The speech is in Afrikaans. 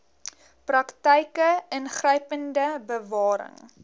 praktyke ingrypende bewaring